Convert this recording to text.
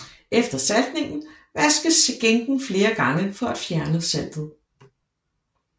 Efter saltningen vaskes skinken flere gange for at fjerne saltet